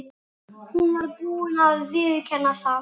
Amma var að tala um bergbúana og jarðskjálftann!